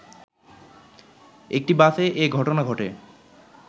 একটি বাসে এ ঘটনা ঘটে